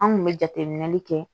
An kun bɛ jateminɛli kɛ